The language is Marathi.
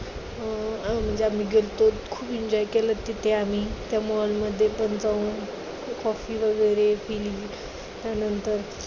अं म्हणजे आम्ही गेलतो, खूप enjoy केलो तिथे आम्ही त्या mall मध्ये पण जाऊन, coffee वगैरे पिली त्यानंतर